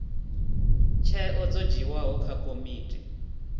tsheo dzo dzhiiwaho nga komiti